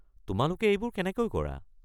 তোমালোকে এইবোৰ কেনেকৈ কৰা?